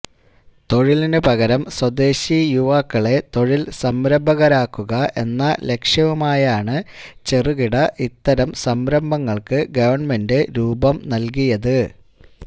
തൊഴിലിന് പകരം സ്വദേശി യുവാക്കളെ തൊഴിൽ സംരംഭകരാക്കുക എന്ന ലക്ഷ്യവുമായാണ് ചെറുകിട ഇടത്തരം സംരംഭങ്ങൾക്ക് ഗവൺമെൻറ് രൂപം നൽകിയത്